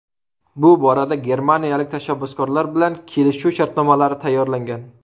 Bu borada germaniyalik tashabbuskorlar bilan kelishuv shartnomalari tayyorlangan.